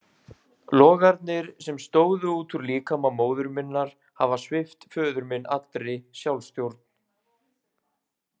Logarnir, sem stóðu út úr líkama móður minnar, hafa svipt föður minn allri sjálfsstjórn.